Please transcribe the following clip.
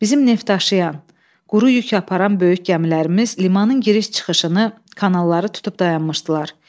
Bizim neftdaşıyan, quru yük aparan böyük gəmilərimiz limanın giriş-çıxışını, kanalları tutub dayanmışdılar.